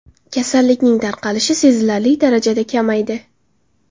Kasallikning tarqalishi sezilarli darajada kamaydi.